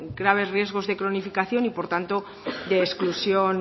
graves riesgos de cronificación y por tanto de exclusión